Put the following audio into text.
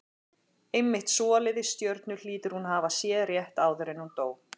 Einmitt svoleiðis stjörnur hlýtur hún að hafa séð rétt áður en hún dó.